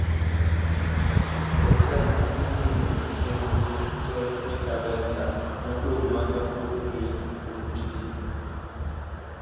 ket ranyisi ewi chenro te e kalenda madong ma kawuono ni oruchgi